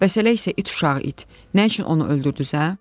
Bəs elə isə it uşağı it, nə üçün onu öldürdünüz hə?